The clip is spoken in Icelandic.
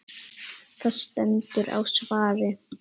Það stendur á svari.